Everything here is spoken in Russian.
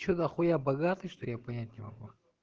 что дохуя богатый что я понять не могу